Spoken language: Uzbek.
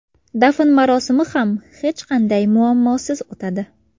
Dafn marosimi ham hech qanday muammosiz o‘tadi.